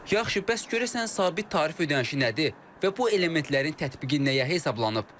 Yaxşı, bəs görəsən sabit tarif ödənişi nədir və bu elementlərin tətbiqi nəyə hesablanıb?